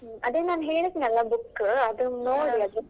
ಅದೇ ನಾನ್ ಹೇಳಿದ್ನಲ್ಲ book ಅದನ್ನು ನೋಡಿ.